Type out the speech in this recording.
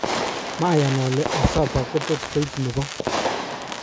"Mayan ole Asaba kototkoib nebo.